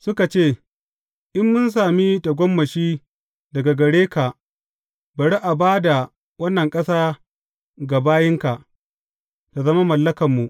Suka ce, In mun sami tagomashi daga gare ka bari a ba da wannan ƙasa ga bayinka, tă zama mallakanmu.